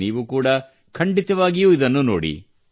ನೀವು ಕೂಡಾ ಖಂಡಿತವಾಗಿಯೂ ಇದನ್ನು ನೋಡಿ